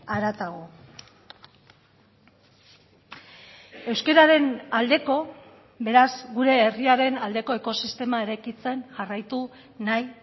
haratago euskararen aldeko beraz gure herriaren aldeko ekosistema eraikitzen jarraitu nahi